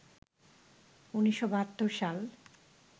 ১৯৭২ সাল